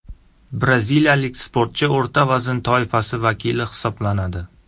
Braziliyalik sportchi o‘rta vazn toifasi vakili hisoblanadi.